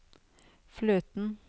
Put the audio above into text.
fløten